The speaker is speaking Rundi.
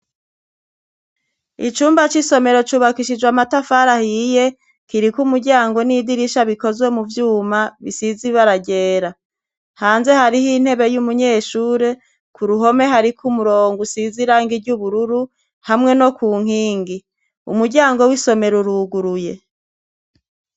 Icumba c'isomero cubakishijwe amatafaraahiye kiriko umuryango n'idirisha bikozwe mu vyuma bisizibaragera hanze hariho intebe y'umunyeshure ku ruhome hariko umurongo usizirange iryo ubururu hamwe no ku nkingi umuryango w'isomero uruguruye.